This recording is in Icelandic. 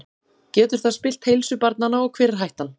Getur það spillt heilsu barnanna og hver er hættan?